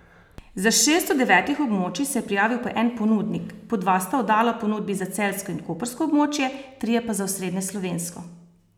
Za šest od devetih območij se je prijavil po en ponudnik, po dva sta oddala ponudbi za celjsko in koprsko območje, trije pa za osrednjeslovensko.